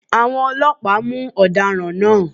Àwọn ọlọ́pàá mú àwọn ọ̀daràn náà